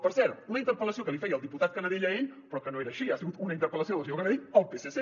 per cert una interpel·lació que li feia el diputat canadell a ell però que no era així ha sigut una interpel·lació del senyor canadell al psc